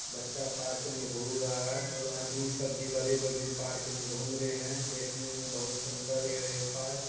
बच्चा पार्क मे घूम रहा है और आदमी सब बड़े बड़े पार्क मे घूम रहैं है। देखने मे बहुत सुंदर है ये पार्क ।